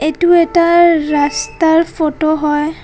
টো এটা ৰাস্তাৰ ফটো হয়।